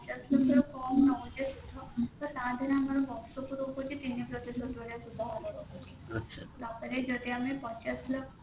ପଚାଶ ଲକ୍ଷ ରୁ କମ ନଉଛେ ସୁଧ ତ ତା ଧେରେ ଆମର ବର୍ଷ କୁ ରହୁଛି ତିନି ପ୍ରତିଶତ ଭଳିଆ ସୁଧହାର ରହୁଛି ତାପରେ ଯଦି ଆମେ ପଚାଶ ଲକ୍ଷ